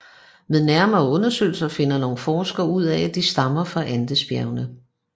Ved nærmere undersøgelser finder nogle forskere ud af at de stammer fra Andesbjergene